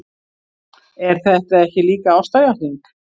Er þetta ekki líka ástarjátning?